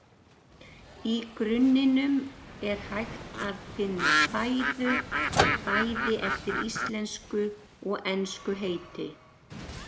Í grunninum er hægt að finna fæðu, bæði eftir íslensku og ensku heiti.